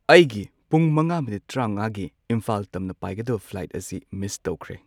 ꯑꯩꯒꯤ ꯄꯨꯡ ꯃꯉꯥ ꯃꯤꯅꯤꯠ ꯇ꯭ꯔꯥꯉꯥꯒꯤ ꯏꯝꯐꯥꯜ ꯇꯝꯅ ꯄꯥꯏꯒꯗꯕ ꯐ꯭ꯂꯥꯏꯇ ꯑꯁꯤ ꯃꯤꯁ ꯇꯧꯈ꯭ꯔꯦ꯫